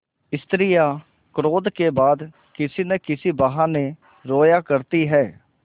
स्त्रियॉँ क्रोध के बाद किसी न किसी बहाने रोया करती हैं